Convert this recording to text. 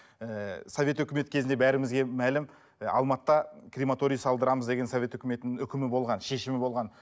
ііі совет өкіметі кезінде бәрімізге мәлім і алматыда крематорий салдырамыз деген совет өкіметінің үкімі болған шешімі болған